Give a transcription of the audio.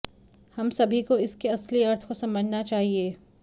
हम सभी को इसके असली अर्थ को समझना चाहिए